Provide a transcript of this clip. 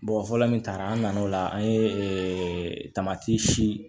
fɔlɔ min taara an nana o la an ye tamati si